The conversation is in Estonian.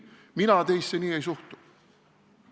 Mina teisse nii ei suhtu.